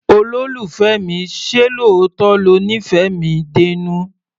Olólùfẹ́ mi, ṣé lóòótọ́ lo nífẹ̀ẹ́ mi dénú?